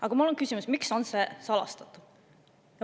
Aga mul on küsimus, miks on see salastatud.